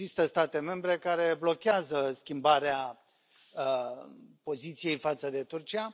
Există state membre care blochează schimbarea poziției față de Turcia.